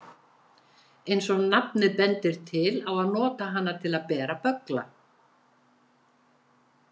Eins og nafnið bendir til á að nota hana til að bera böggla.